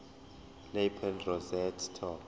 lapel rosette top